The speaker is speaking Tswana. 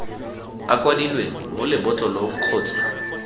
a kwadilweng mo lebotlolong kgotsa